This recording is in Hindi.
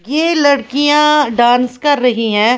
ये लड़कियां डांस कर रही है।